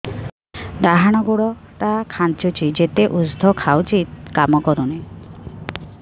ଡାହାଣ ଗୁଡ଼ ଟା ଖାନ୍ଚୁଚି ଯେତେ ଉଷ୍ଧ ଖାଉଛି କାମ କରୁନି